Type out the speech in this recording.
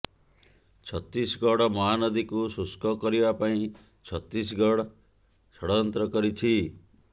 ଛତିଶଗଡ଼ ମହାନଦୀକୁ ଶୁଷ୍କ କରିବା ପାଇଁ ଛତିଶଗଡ଼ ଷଡ଼ଯନ୍ତ୍ର କରିଛି